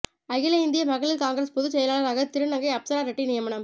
அகில இந்திய மகளிர் காங்கிரஸ் பொதுச் செயலாளராக திருநங்கை அப்சரா ரெட்டி நியமனம்